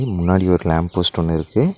முன்னாடி ஒரு lamp post ஒன்னு இருக்கு.